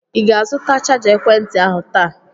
Ị ga-azụta chaja ekwentị ahụ taa?